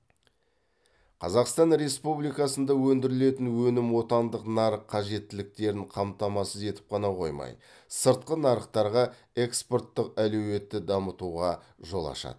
қазақстан республикасында өндірілетін өнім отандық нарық қажеттіліктерін қамтамасыз етіп қана қоймай сыртқы нарықтарға экспорттық әлеуетті дамытуға жол ашады